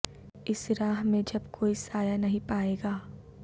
اس راہ میں جب کوئی سایہ نہیں پائے گا